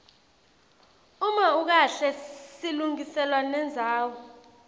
uma ukahle silungiselwa nendzawo